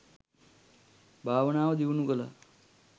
භාවනාව දියුණු කළා.